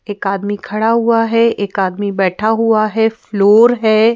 एक आदमी खड़ा हुआ है एक आदमी बैठा हुआ है फ्लोर है।